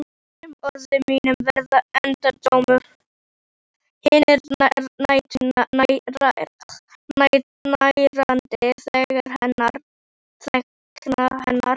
Öll orð mín verða endurómur hinnar nærandi þagnar hennar.